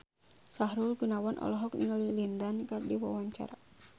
Sahrul Gunawan olohok ningali Lin Dan keur diwawancara